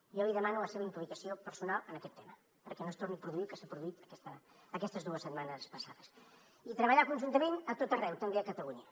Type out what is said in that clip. jo li demano la seva implicació personal en aquest tema perquè no es torni a produir el que s’ha produït aquestes dues setmanes passades i treballar conjuntament a tot arreu també a catalunya